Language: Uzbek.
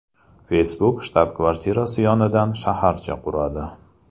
Facebook shtab-kvartirasi yonidan shaharcha quradi.